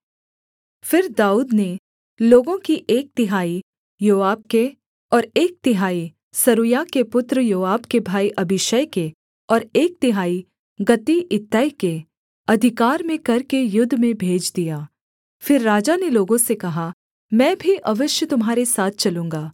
फिर दाऊद ने लोगों की एक तिहाई योआब के और एक तिहाई सरूयाह के पुत्र योआब के भाई अबीशै के और एक तिहाई गती इत्तै के अधिकार में करके युद्ध में भेज दिया फिर राजा ने लोगों से कहा मैं भी अवश्य तुम्हारे साथ चलूँगा